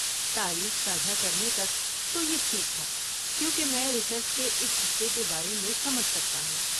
تاریخ ساجھا کرنے تک تو یہ ٹھیک تھا، کیونکہ میں ریسرچ کے اس حصے کے بارے میں سمجھ سکتا ہوں۔